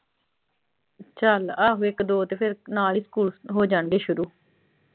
ਚਲ ਆਹੋ ਇੱਕ ਦੋ ਤੋਂ ਫਿਰ ਨਾਲ ਹੀ ਸਕੂਲ ਹੋ ਜਾਣਗੇ ਸ਼ੁਰੂ।